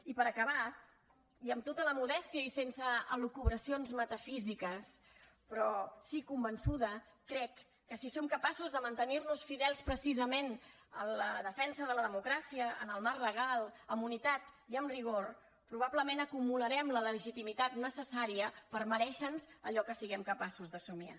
i per acabar i amb tota la modèstia i sense elucubracions metafísiques però sí que convençuda crec que si som capaços de mantenir nos fidels precisament en la defensa de la democràcia en el marc legal amb unitat i amb rigor probablement acumularem la legitimitat necessària per merèixer nos allò que siguem capaços de somniar